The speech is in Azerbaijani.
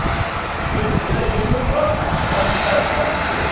Heç belə şey olmaz məzhəb haqqı.